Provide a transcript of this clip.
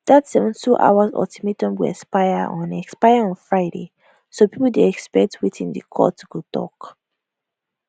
dat 72 hours ultimatum go expire on expire on friday so pipo dey expect wetin di court go tok